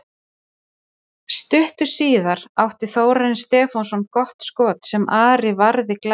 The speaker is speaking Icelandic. Stuttu síðar átti Þórarinn Stefánsson gott skot sem Ari varði glæsilega.